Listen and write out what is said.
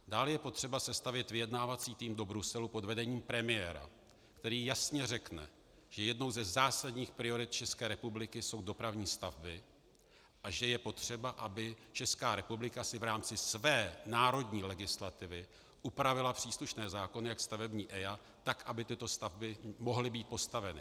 Dále je potřeba sestavit vyjednávací tým do Bruselu pod vedením premiéra, který jasně řekne, že jednou ze zásadních priorit České republiky jsou dopravní stavby a že je potřeba, aby Česká republika si v rámci své národní legislativy upravila příslušné zákony, jak stavební EIA, tak aby tyto stavby mohly být postaveny.